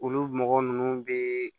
Olu mɔgɔ ninnu bɛ